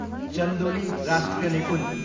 चन्दोली राष्ट्रिय निकुञ्ज